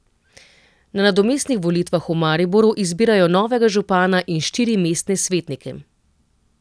Na nadomestnih volitvah v Mariboru izbirajo novega župana in štiri mestne svetnike.